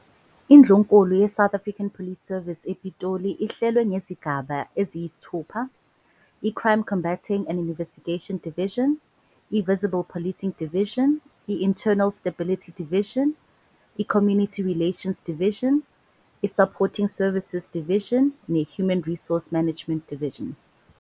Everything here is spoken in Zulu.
Indlunkulu yeSouth African Police Service ePitoli ihlelwe ngezigaba eziyisithupha, "iCrime Combating and Investigation Division", i- "Visible Policing Division", i- "Internal Stability Division", "iCommunity Relations Division", i- "Supporting Services Division", ne- "Human Resource Management Division".